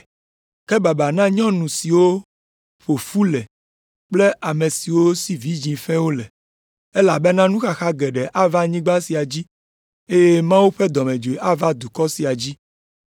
Ke baba na nyɔnu siwo ƒo fu le kple ame siwo si vidzĩ fɛ̃wo le, elabena nuxaxa geɖe ava anyigba sia dzi eye Mawu ƒe dɔmedzoe ava dukɔ sia dzi.